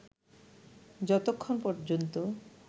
যতক্ষন পর্যন্ত